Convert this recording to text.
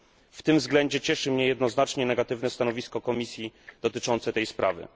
W tym względzie cieszy mnie jednoznacznie negatywne stanowisko Komisji dotyczące tej sprawy.